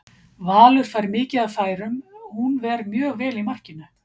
Valur fær mikið af færum, hún ver mjög vel í markinu?